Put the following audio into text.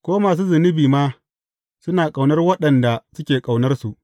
Ko masu zunubi ma suna ƙaunar waɗanda suke ƙaunarsu.